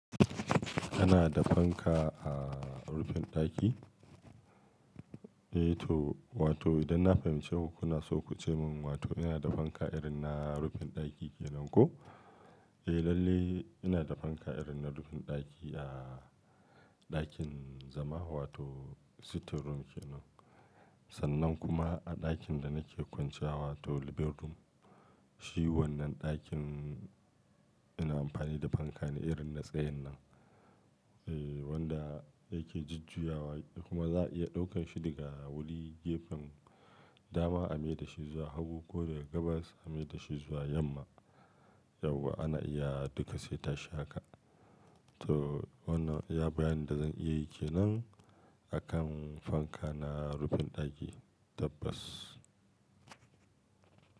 Kana da fanka a rufin ɗaki? Eh to, wato idan na fahimci ku kuna so ku ce min wato ina da fanka irin na rufin ɗaki kenan ko? Eh lalle ina da fanka irin na rufin ɗaki a ɗakin zama wato sitting room kenan. Sannan kuma a ɗakin da nake kwanciya wato living room. Shi wannan ɗakin ina amfani da fanka ne irin na tsayin nan, eh wanda yake jujjuyawa kuma za a iya ɗaukan shi daga wuri gefen dama ameda shi zuwa hagu ko daga gabas ameda shi zuwa yamma. Yauwa ana iya duka sai ta shi haka. To wannan iya bayanin da zan iya yi kenan a kan fanka na rufin ɗaki tabbas.